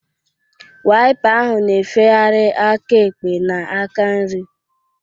Waipa ahụ na-efegharị aka ekpe na aka nri